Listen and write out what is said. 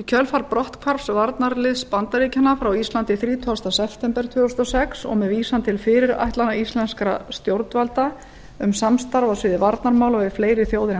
í kjölfar brotthvarfs varnarliðs bandaríkjanna frá íslandi þrítugasta september tvö þúsund og sex og með vísan til fyrirætlana íslenskra stjórnvalda um samstarf á sviði varnarmála við fleiri þjóðir en